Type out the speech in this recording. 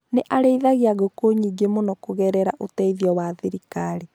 Nĩ arĩithagia ngũkũ nyingĩ mũno kũgerera ũteithio wa thirikari